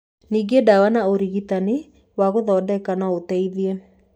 Ningĩ ndawa na ũrigitani wa gũthondeka no ũteithie.